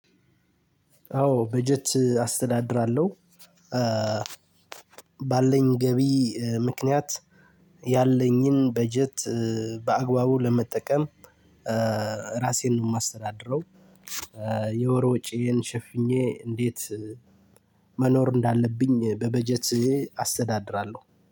አዎ በጀት አስተዳድራለሁ። ባለኝ ገቢ ምክንያት ያለኝን በጀት በአግባቡ ለመጠቀም ራሴን ነው የማስተዳድረው። የወር ወጪዬን ሸፍኜ እንዴት መኖር እንዳለብኝ በበጀት አስተዳድራለሁ